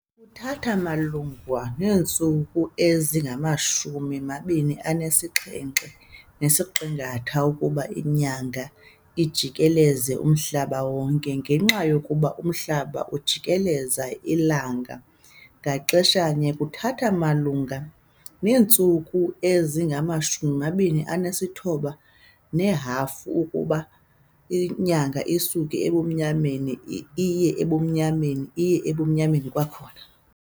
Kuthatha malunga neentsuku ezingama-27⅓ ukuba iNyanga ijikeleze umhlaba wonke ngenxa yokuba uMhlaba ujikeleza iLanga ngaxeshanye, kuthatha malunga neentsuku ezingama-29½ ukuba iNyanga isuke ebumnyameni iye ebumnyameni iye ebumnyameni kwakhona.